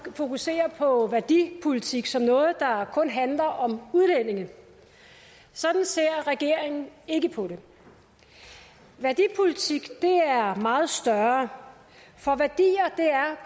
fokuserer på værdipolitik som noget der kun handler om udlændinge sådan ser regeringen ikke på det værdipolitik er meget større for værdier